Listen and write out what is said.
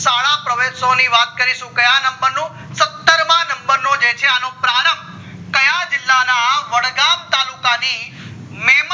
શાળા પ્રવેશો ની વાત ક્યાં number નું સત્તર માં number નો છે પ્રારભ ક્યાં જીલ્લા ના વડગામ તાલુકા ની